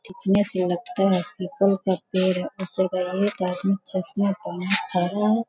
दिखने से लगता है की एक आदमी चश्मे पहने खड़ा हुआ है।